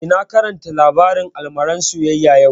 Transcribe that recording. Eh, na karanta labarin almaran soyayya yau